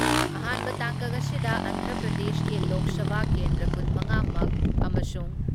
ꯑꯍꯥꯥꯟꯕ ꯇꯥꯡꯀꯛ ꯑꯁꯤꯗ ꯑꯟꯙ꯭ꯔ ꯄ꯭ꯔꯗꯦꯁꯀꯤ ꯂꯣꯛ ꯁꯚꯥ ꯀꯦꯟꯗ꯭ꯔ ꯀꯨꯟ ꯃꯉꯥ ꯃꯛ ꯑꯃꯁꯨꯡ